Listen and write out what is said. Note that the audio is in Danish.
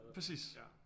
Præcis